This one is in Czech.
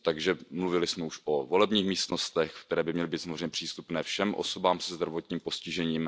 Takže mluvili jsme již o volebních místnostech, které by měly být samozřejmě přístupné všem osobám se zdravotním postižením.